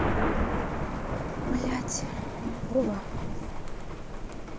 блядь вова